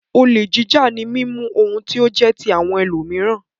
Olè jíjà ni mímú ohun tí ó jẹ́ ti àwọn ẹlòmíràn.